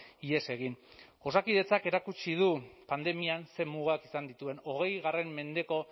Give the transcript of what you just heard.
ihes egin osakidetzak erakutsi du pandemian zer mugak izan dituen hogei mendeko